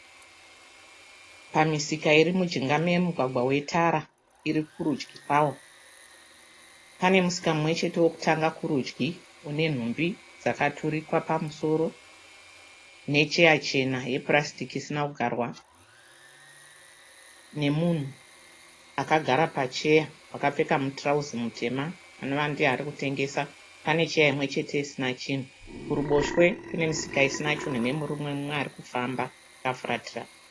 Pamisika iri mujinga memugwagwa wetara iri kurudyi kwawo, pane musika mumwe chete wokutanga kurudyi une nhumbi dzakaturikwa pamusoro necheya chena yepurasitiki isina kugarwa, nomunhu akagara pacheya akapfeka mutirauzi mutema anova ndiye ari kutengesa. Pane cheya imwe chete isina chinhu. Kuruboshwe kune misika isina chinhu nomurume mumwe ari kufamba akafuratira.